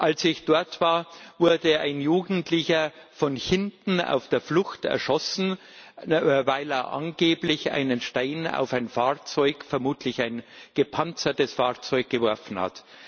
Als ich dort war, wurde ein Jugendlicher von hinten auf der Flucht erschossen, weil er angeblich einen Stein auf ein Fahrzeug vermutlich ein gepanzertes Fahrzeug geworfen hat.